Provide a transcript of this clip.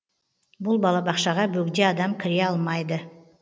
бұл балабақшаға бөгде адам кіре алмайды